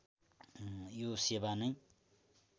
यो सेवा नै